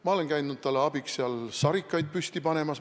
Ma olen käinud talle abiks seal sarikaid püsti panemas.